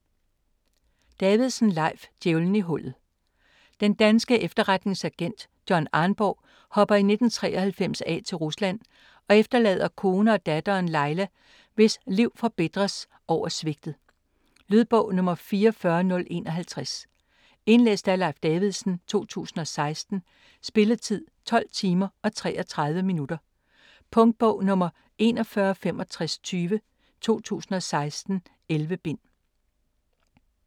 Davidsen, Leif: Djævelen i hullet Den danske efterretningsagent John Arnborg hopper i 1993 af til Rusland og efterlader kone og datteren, Laila, hvis liv forbitres over sviget. Lydbog 44051 Indlæst af Leif Davidsen, 2016. Spilletid: 12 timer, 33 minutter. Punktbog 416520 2016. 11 bind.